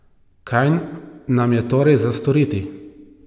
Kaj nam je torej za storiti?